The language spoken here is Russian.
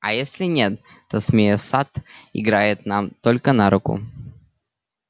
а если нет то змея сатт играет нам только на руку